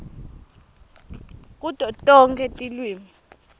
kuto tonkhe tilwimi